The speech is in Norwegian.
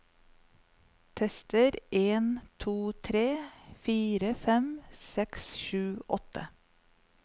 Tester en to tre fire fem seks sju åtte